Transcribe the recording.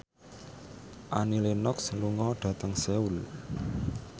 Annie Lenox lunga dhateng Seoul